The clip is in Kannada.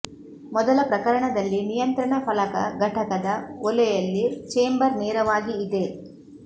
ಮೊದಲ ಪ್ರಕರಣದಲ್ಲಿ ನಿಯಂತ್ರಣ ಫಲಕ ಘಟಕದ ಒಲೆಯಲ್ಲಿ ಚೇಂಬರ್ ನೇರವಾಗಿ ಇದೆ